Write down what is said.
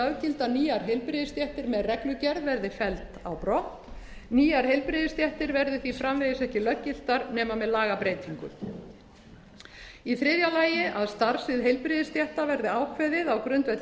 löggilda nýjar heilbrigðisstéttir með reglugerð verði felld á brott nýjar heilbrigðisstéttir verði því framvegis ekki löggiltar nema með lagabreytingu í þriðja lagi að starfssvið heilbrigðisstétta verði ákveðið á grundvelli